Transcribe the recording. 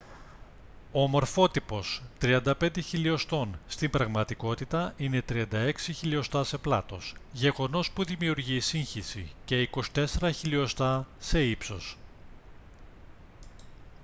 ο μορφότυπος 35 χιλιοστών στην πραγματικότητα είναι 36 χιλιοστά σε πλάτος γεγονός που δημιουργεί σύγχυση και 24 χιλιοστά σε ύψος